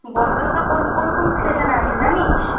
Bongaon local কোন কোন station এ আসে জানিস